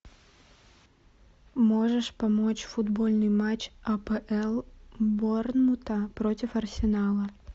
можешь помочь футбольный матч апл борнмута против арсенала